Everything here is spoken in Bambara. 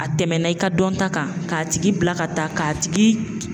A tɛmɛna i ka dɔnta kan, k'a tigi bila ka taa k'a tigi